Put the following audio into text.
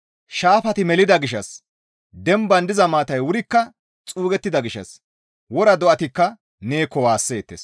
Shaafati melida gishshas demban diza maatay wurikka xuugettida gishshas wora do7atikka neekko waasseettes.